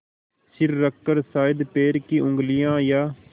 सिर रखकर शायद पैर की उँगलियाँ या